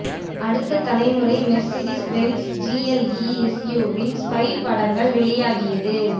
அடுத்த தலைமுறை Mercedes Benz GLE எஸ்யூவியின் ஸ்பை படங்கள் வெளியாகியது